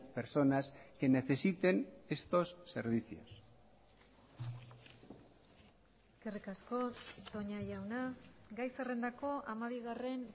personas que necesiten estos servicios eskerrik asko toña jauna gai zerrendako hamabigarren